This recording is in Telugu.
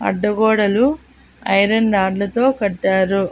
అడ్డగోడలు ఐరన్ రాడ్లతో కట్టారు.